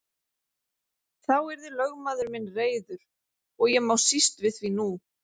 Þá yrði lögmaður minn reiður og ég má síst við því nú.